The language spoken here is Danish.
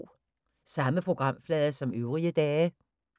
Samme programflade som øvrige dage